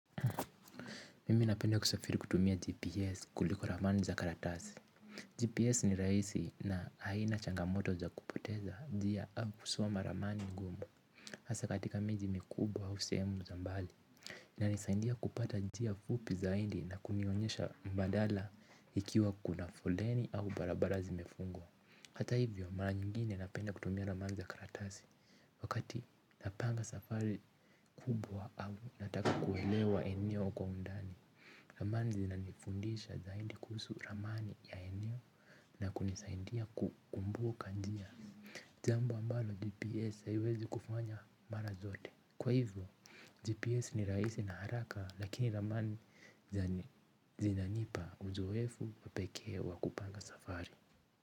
Mimi napenda kusafiri kutumia GPS kuliko ramani za karatasi. GPS ni rahisi na haina changamoto za kupoteza njia au kusoma ramani ngumu hasa katika miji mikubwa au sehemu za mbali. Na nisaidia kupata njia fupi zaidi na kunionyesha mbadala ikiwa kuna foleni au barabara zimefungwa. Hata hivyo mara nyingine napenda kutumia ramani za karatasi. Wakati napanga safari kubwa au nataka kuelewa eneyo kwa undani. Ramani zinanifundisha zaidi kuhusu ramani ya eneo na kunisaidia kukumbuka njia jambo ambalo GPS haiwezi kufanya mara zote. Kwa hivyo, GPS ni rahisi na haraka lakini ramani zinanipa uzowefu pekee wa kupanga safari.